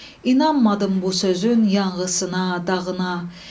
İnanmadım bu sözün yanğısına, dağına.